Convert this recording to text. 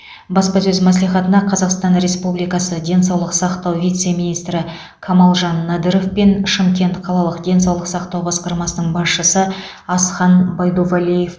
баспасөз мәслихатына қазақстан республикасы денсаулық сақтау вице министрі камалжан надыров пен шымкент қалалық денсаулық сақтау басқармасының басшысы асхан байдувалиев